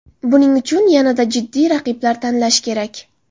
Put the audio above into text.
Buning uchun yanada jiddiy raqiblar tanlash kerak.